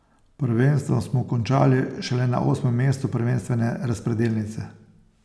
Prvenstvo smo končali šele na osmem mestu prvenstvene razpredelnice.